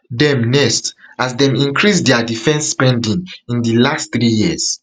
dem next as dem increase dia defense spending in di last three years